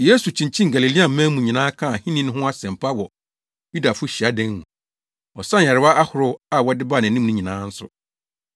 Yesu kyinkyinii Galileaman mu nyinaa kaa ahenni no ho asɛmpa wɔ Yudafo hyiadan mu. Ɔsaa nyarewa ahorow a wɔde baa nʼanim nyinaa nso.